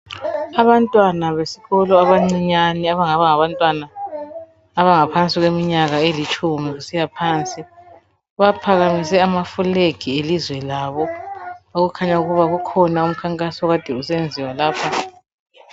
Abantwana besikolo abancinyane abangaba ngabantwana abangaphansi kweminyaka elitshumi kusiya phansi baphakamise amafulegi elizwe labo okukhanya ukuba kukhona umkhankaso kade usenziwa lapho.